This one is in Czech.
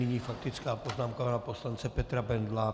Nyní faktická poznámka pana poslance Petra Bendla.